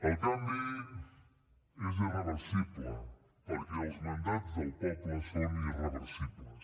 el canvi és irreversible perquè els mandats del poble són irreversibles